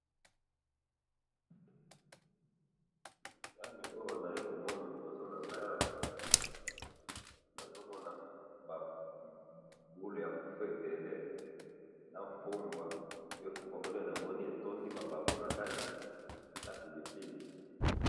Nani oyo nazali komona liboso nangayi awa, nazomona ba boule ya fufu ebele, na fumbwa, nde fubwa yango namoni etondi mabaku nakati, napilipili